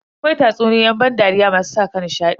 Akwai tatsuniyoyin ban dariya masu saka nishadi.